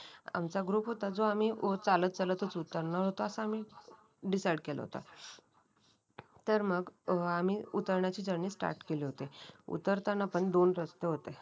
आमचा ग्रुप होता जो आम्ही चालत चालतच उतरणार होतो असा मी डिसाईड केलं होतं तर मग आम्ही उतरण्याची जर्नी स्टार्ट केली होती. उतरताना पण दोन रस्ते होते.